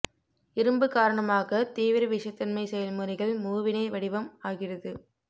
இரும்பு காரணமாக தீவிர விஷத்தன்மை செயல்முறைகள் மூவிணைத் வடிவம் ஆகிறது